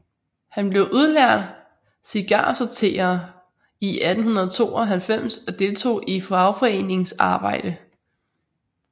Han blev udlært cigarsorterer i 1892 og deltog i fagforeningsarbejde